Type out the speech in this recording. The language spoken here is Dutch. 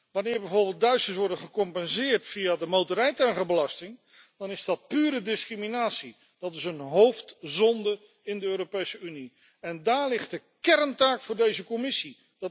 Wanneer bijvoorbeeld Duitsers worden gecompenseerd via de motorrijtuigenbelasting, dan is dat pure discriminatie. Dat is een hoofdzonde in de Europese Unie en daar ligt de kerntaak voor deze Commissie.